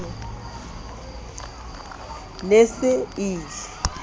ne e se e ie